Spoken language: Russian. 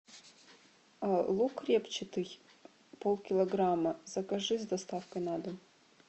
лук репчатый пол килограмма закажи с доставкой на дом